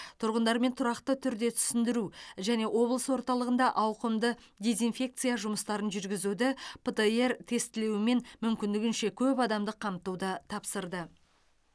тұрғындармен тұрақты түрде түсіндіру және облыс орталығында ауқымды дезинфекция жұмыстарын жүргізуді птр тестілеуімен мүмкіндігінше көп адамды қамтуды тапсырды